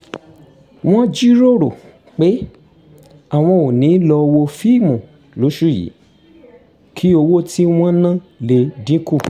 wọ́n jíròrò pé àwọn ò ní lọ wo fíìmù lóṣù yìí kí owó tí wọ́n ná lè dín kù